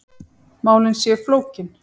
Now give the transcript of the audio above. Málin séu flókin.